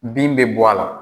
Bin bɛ bɔ a la.